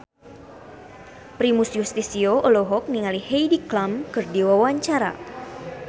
Primus Yustisio olohok ningali Heidi Klum keur diwawancara